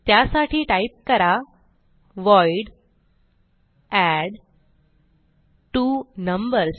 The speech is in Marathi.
त्यासाठी टाईप करा व्हॉइड एडट्वोनंबर्स